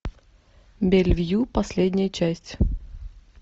бельвью последняя часть